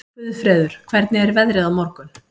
Guðfreður, hvernig er veðrið á morgun?